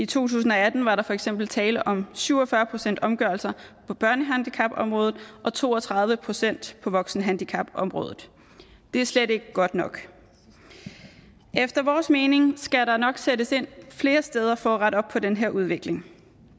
tusind og atten var der for eksempel tale om syv og fyrre procent omgørelse på børnehandicapområdet og to og tredive procent på voksenhandicapområdet det er slet ikke godt nok efter vores mening skal der nok sættes ind flere steder for at rette op på den her udvikling